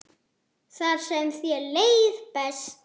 Þar sem þér leið best.